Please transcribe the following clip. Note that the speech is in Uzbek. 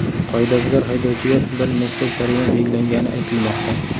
Qoidabuzar haydovchiga bir nechta jarima belgilangani aytilmoqda.